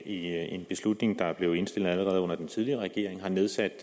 en beslutning som er blevet indstillet allerede under den tidligere regering har nedsat